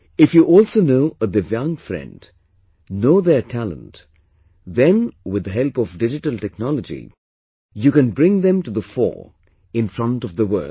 If you also know a Divyang friend, know their talent, then with the help of digital technology, you can bring them to the fore in front of the world